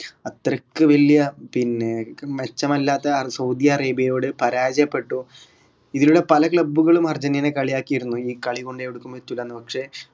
അത്രയ്ക്ക് വല്ല്യ പിന്നെ മെച്ചമല്ലാത്ത അ സൗദി അറേബ്യയോട് പരാജയപ്പെട്ടു ഇങ്ങനുള്ള പല club കളും അർജന്റീനയെ കളിയാക്കിയിരുന്നു ഈ കളികൊണ്ട് എവ്ടെക്കും എത്തുലാന്ന് പക്ഷെ